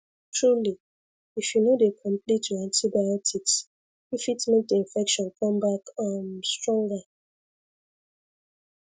truly if you no dey complete your antibiotics e fit make the infection come back um stronger